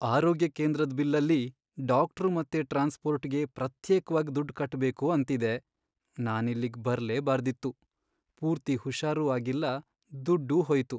ಆರೋಗ್ಯ ಕೇಂದ್ರದ್ ಬಿಲ್ಲಲ್ಲಿ ಡಾಕ್ಟ್ರು ಮತ್ತೆ ಟ್ರಾನ್ಸ್ಪೋರ್ಟ್ಗೆ ಪ್ರತ್ಯೇಕ್ವಾಗ್ ದುಡ್ಡ್ ಕಟ್ಬೇಕು ಅಂತಿದೆ, ನಾನಿಲ್ಲಿಗ್ ಬರ್ಲೇ ಬಾರ್ದಿತ್ತು. ಪೂರ್ತಿ ಹುಷಾರೂ ಆಗಿಲ್ಲ, ದುಡ್ಡೂ ಹೋಯ್ತು.